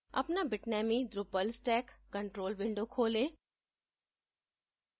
अपना bitnami drupal stack control window खोलें